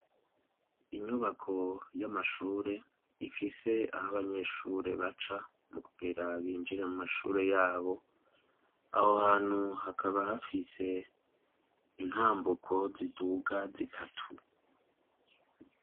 Inyubako y'amashure ifise aho abanyeshure baca mu kugera binjire mu mashure yabo aho hantu hakaba hafise intambuko ziduga zitatu.